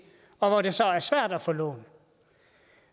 og hvor det så er svært at få lån